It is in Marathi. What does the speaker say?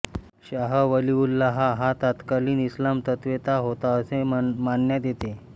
शाह वलिउल्लाह हा तत्कालीन इस्लाम तत्त्वेता होता असे मानण्यात येते